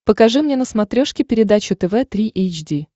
покажи мне на смотрешке передачу тв три эйч ди